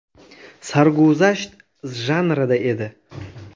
Sarguzasht janrida edi.